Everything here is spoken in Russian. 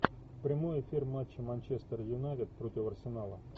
прямой эфир матча манчестер юнайтед против арсенала